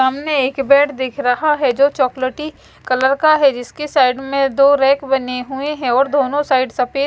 सामने एक बेड दिख रहा है जो चॉकलेटी कलर का है जिसके साइड में दो रैक बने हुए हैं और दोनों साइड सफ़ेद--